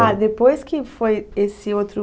Ah, depois que foi esse outro...